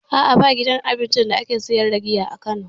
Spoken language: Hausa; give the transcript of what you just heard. A'a ba gidan cin abincin da ake siyar da giya a kano